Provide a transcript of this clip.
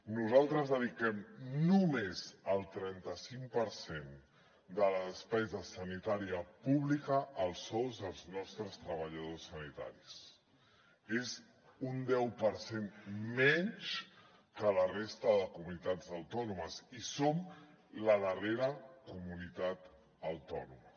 nosaltres dediquem només el trenta cinc per cent de la despesa sanitària pública als sous dels nostres treballadors sanitaris és un deu per cent menys que a la resta de comunitats autònomes i som la darrera comunitat autònoma